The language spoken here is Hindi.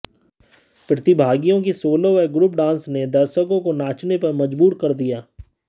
प्रतिभागियों के सोलो और गु्रप डांस ने दर्शकों को नाचने पर मजबूर कर दिया